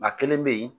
A kelen bɛ yen